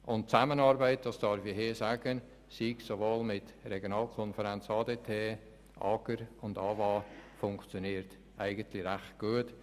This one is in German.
Die Zusammenarbeit mit der Regionalkonferenz, AGR und AWA funktioniert eigentlich recht gut.